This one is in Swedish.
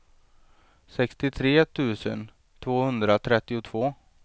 sextiotre tusen tvåhundratrettiotvå